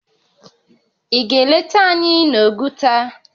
Ị ga-eleta anyị n'Oguta?